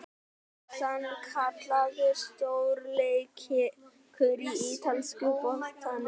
Það var sannkallaður stórleikur í ítalska boltanum í kvöld!